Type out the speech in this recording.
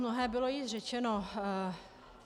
Mnohé bylo již řečeno.